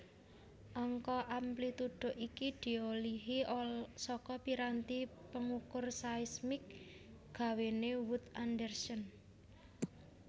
Angka amplitudo iki diolihi saka piranti pengukur seismik gawéne Wood Anderson